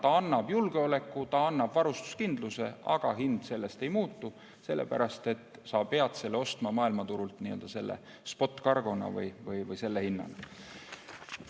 Ta annab julgeoleku, ta annab varustuskindluse, aga hind sellest ei muutu, sellepärast et sa pead selle ostma maailmaturult spot cargo'na ja selle hinnaga.